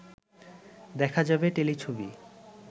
দেখা যাবে টেলিছবি